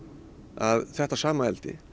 að þetta sama eldi